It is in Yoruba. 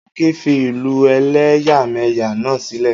Akin fi ìlú ẹ̀lẹ́yàmẹ́yà náà sílẹ̀.